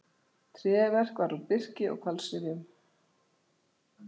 Tréverk var úr birki og hvalsrifjum.